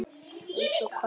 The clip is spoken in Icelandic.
Eins og hvað þá?